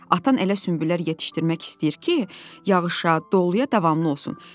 Atan elə sümbüllər yetişdirmək istəyir ki, yağışa, doluya davamlı olsun.